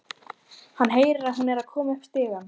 Hann heyrir að hún er að koma upp stigann.